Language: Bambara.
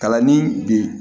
Kalanni bi